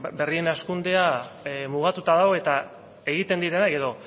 berrien hazkundea mugatuta dago eta egiten diren